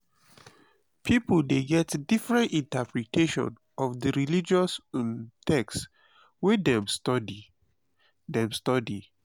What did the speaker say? pipo de get different interpretation of di religious um text wey dem study dem study